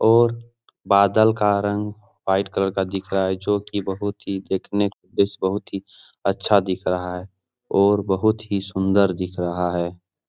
और बादल का रंग व्हाइट कलर का दिख रहा है जो की बहुत ही देखने पे बस बहुत ही अच्छा दिख रहा है और बहुत ही सुन्दर दिख रहा है ।